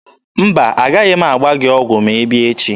Mba, a gaghị m agba gị ọgwụ ma ị bịa echi.